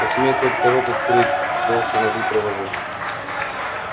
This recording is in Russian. посмеет только рот открыть доусона выпровожу